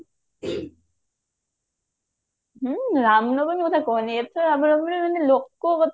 ହଁ ରାମ ନବମୀ କଥା କହନି ଏତେ ଲୋକ